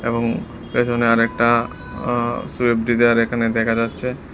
এবং পেছনে আরেকটা আ সুইফট ডিজায়ার এখানে দেখা যাচ্ছে।